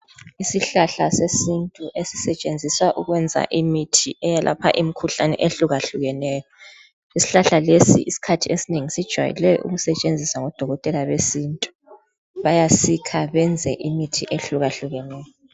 Isihlahla sesintu esisetshenziswa ukwenza imithi eyelapha imikhuhlane ehlukahlukeneyo. Isihlahla lesi isikhathi esinengi sijwayele ukusetshenziswa ngodokotela besintu. Bayasikha beyenze imithi ehlukahlukeneyo.